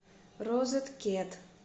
розет кет